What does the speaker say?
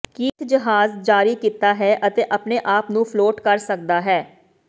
Keith ਜਹਾਜ਼ ਜਾਰੀ ਕੀਤਾ ਹੈ ਅਤੇ ਆਪਣੇ ਆਪ ਨੂੰ ਫਲੋਟ ਕਰ ਸਕਦਾ ਹੈ